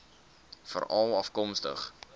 veralafkomstig